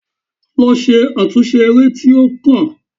Lọ ṣe àtúnṣe eré tí o kọ!